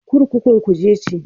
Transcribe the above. Kurkukun Kuje ce.